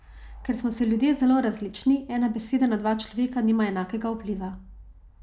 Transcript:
Ker smo si ljudje zelo različni, ena beseda na dva človeka nima enakega vpliva.